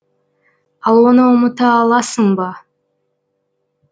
ал оны ұмыта аласың ба